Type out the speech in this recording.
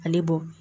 Ale bɔ